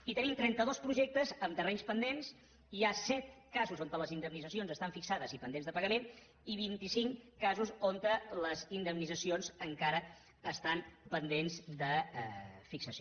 i tenim trenta dos projectes amb terrenys pendents hi ha set casos on les indemnitzacions estan fixades i pendents de pagament i vint cinc casos on les indemnitzacions encara estan pendents de fixació